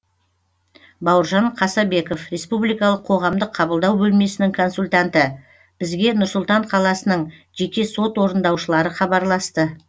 бауыржан қасабеков республикалық қоғамдық қабылдау бөлмесінің консультанты бізге нұр сұлтан қаласының жеке сот орындаушылары хабарласты